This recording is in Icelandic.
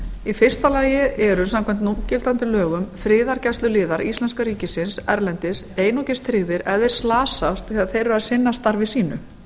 í fyrsta lagi eru samkvæmt núgildandi lögum friðargæsluliðar íslenska ríkisins erlendis einungis tryggðir ef þeir slasast þegar þeir eru að sinna starfi sínu